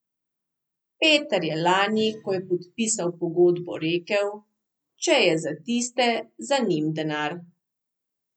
Peter je lani, ko je podpisal pogodbo rekel, če je za tiste za njim denar.